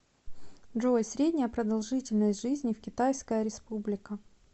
джой средняя продолжительность жизни в китайская республика